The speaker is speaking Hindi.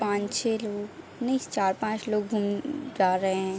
पाँच-छह लोग नहीं चार-पांच लोग घुम्म जा रहे हैं।